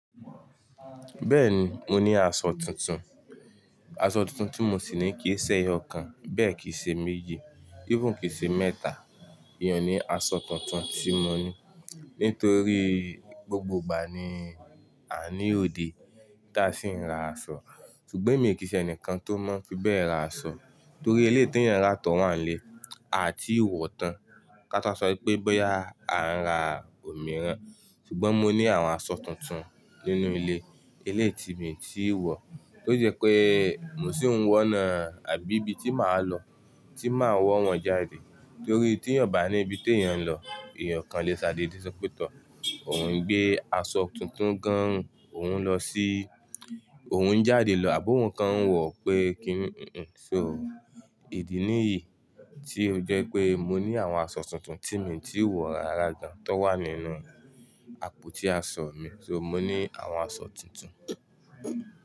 Bẹ́ẹ̀ni, mo ní aṣọ tuntun. Aṣọ tuntun tí mo sì ní kì í ṣe ẹyọ kan, bẹ́ẹ̀ kì í ṣe méjì, even kì í ṣe mẹ́ta. Iyàn ni aṣọ kàntun tí mo ní. Nítorí gbogbo ìgbà ni a ní òde tí a sì ń ra aṣọ. Ṣùgbọ́n emi ò kí í ṣe ẹnìkan tó mọ̀ fí bẹ́ẹ̀ ra aṣọ. Nítorí eléyí tí èèyàn ń rà tó wà ní ilé, a ti wọ̀ tán. Kátọ́ wà sọ wípé bọ́yá à ń ra òmíràn. Ṣùgbọ́n mo ní àwọn aṣọ tuntun nínú ilé. Elé ti mi tí wọ̀. Ó jẹ́ pé mo sì ń wọ́n náà, àbí ibi tí màá lọ tí màá wọ́ wọn jáde. Nítorí tí èèyàn bá ní ibi tí èèyàn ń lọ, èèyàn kàn lè sádé dé sópétò. Òun gbé aṣọ tuntun gan, òun lọ sí-- òun ń jáde lọ, àbó òun kàn ń wọ̀ pé kí n So ìdí nìyí tí ó jẹ́ pé mo ní àwọn aṣọ tuntun tí mí tí wọ̀ rara gan tó wà nínú àpótí aṣọ mi. So mo ní àwọn aṣọ tuntun.